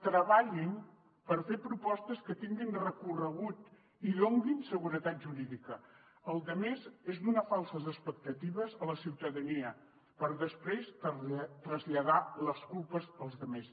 treballin per fer propostes que tinguin recorregut i donin seguretat jurídica la resta és donar falses expectatives a la ciutadania per després traslladar les culpes als altres